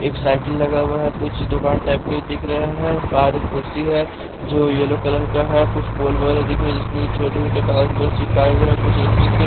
एक साइकिल लगा हुआ है कुछ दुकान टाइप के दिख रहे हैं पार एक कुर्सी है जो येलो कलर का है कुछ फूल वगैरह दिख रहा है जिसमें छोटा-छोटा कागज उगज चिपकाए हुए हैं कुछ इलेक्ट्रिक के --